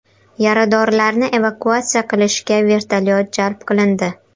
Yaradorlarni evakuatsiya qilishga vertolyot jalb qilindi.